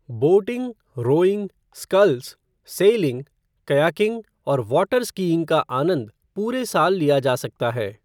Boating, rowing, sculls, sailing , kayaking और water skiing का आनंद पूरे साल लिया जा सकता है।